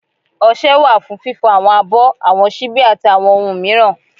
ọṣẹ wa fún fífo awọn abọ́, awọn ṣíbi ati awọn ohun miiran.